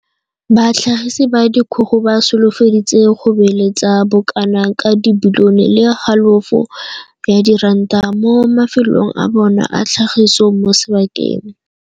Batlhagisi ba dikgogo ba solofeditse go beeletsa bo kana ka bilione le halofo ya diranta mo mafelong a bona a tlhagiso mo sebakeng.